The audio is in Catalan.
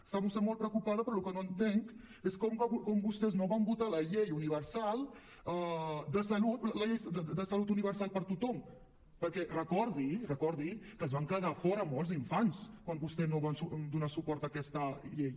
està vostè molt preocupada però el que no entenc és com vostès no van votar la llei de salut universal per a tothom perquè recordi recordi que se’n van quedar fora molts infants quan vostès no van donar suport a aquesta llei